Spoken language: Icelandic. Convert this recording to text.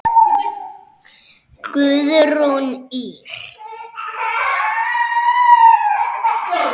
Guðrún Ýr.